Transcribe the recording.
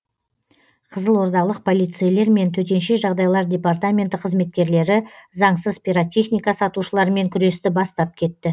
қызылордалық полицейлер мен төтенше жағдайлар департаменті қызметкерлері заңсыз пиротехника сатушылармен күресті бастап кетті